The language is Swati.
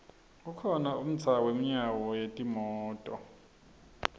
kukhona umdza wemyano yenimoto